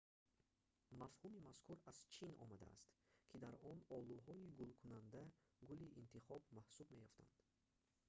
мафҳуми мазкур аз чин омадааст ки дар он олуҳои гулкунанда гули интихоб маҳсуб меёфтанд